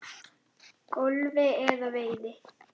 golfi eða veiði.